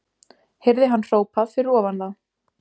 Heyrði hann hrópað fyrir ofan þá.